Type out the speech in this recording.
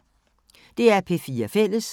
DR P4 Fælles